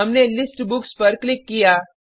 हमने list books पर click किया